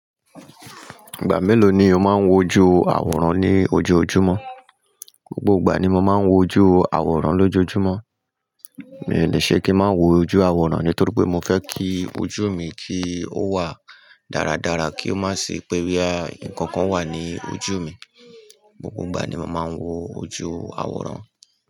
Ìgbà mélòó ni o máa ń wo ojú àwòrán ní ojoojúmọ́? Gbogbo ìgbà ni mo máa ń wo ojú àwòrán lójojúmọ́. Mi ò le ṣe kí n má wo ojú àwòrán nítorí pé mo fẹ́ kí ojú mi kí ó wà dáradára kí ó má sì pé bí i à nǹkan kan wà ní ojú mi. Gbogbo ìgbà ni mo máa ń wo ojú àwòrán.